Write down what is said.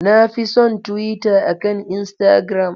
Na fi son Twitter akan Instagram.